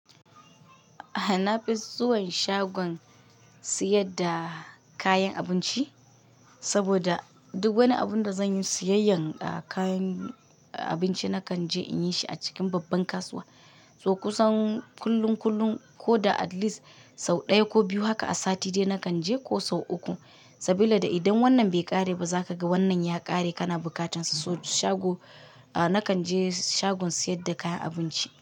A'a na fi zuwan shagon siyad da kayan abinci, saboda duk wani abun da zan yi siyayyan kayan abinci nakan je in yi shi a cikin babban kasuwa. To kusan kullun kullun ko da at least sau ɗaya ko biyu haka a sati ɗaya nakan je ko sau uku. Sabila idan wannan bai ƙare ba za ka ga wannan ya ƙare kana bukatan sa. So shago, ah nakan je shagon sayar da kayan abinci.